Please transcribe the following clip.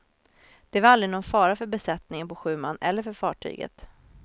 Det var aldrig någon fara för besättningen på sju man eller för fartyget.